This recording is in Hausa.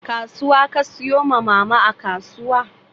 Kasuwa ka siyo ma Mama a kasuwa?